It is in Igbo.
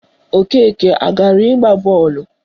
Okeke agara ịgba bọọlụ?